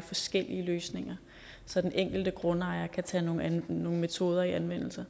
forskellige løsninger så den enkelte grundejer kan tage nogle metoder i anvendelse